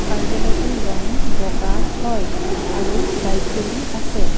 কাৰ্য্যালয়টোৰ ৰং বগা হয় আৰু লাইট জ্বলি আছে।